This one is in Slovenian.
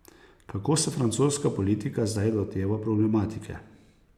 Kako se francoska politika zdaj loteva problematike?